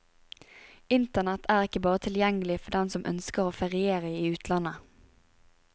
Internett er ikke bare tilgjengelig for dem som ønsker å feriere i utlandet.